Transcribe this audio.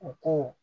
U ko